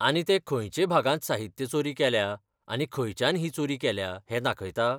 आनी तें खंयचे भागांत साहित्य चोरी केल्या आनी खंयच्यान ही चोरी केल्या हें दाखयता?